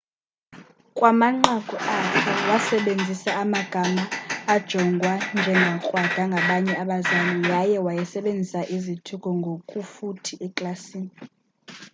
kumanqaku akhe wasebenzisa amagama ajongwa njengakrwada ngabanye abazali yaye waysebenzisa izithuko ngokufuthi eklasini